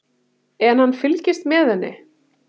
En hann fylgist með henni.